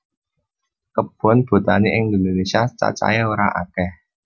Kebon botani ing Indonesia cacah e ora okeh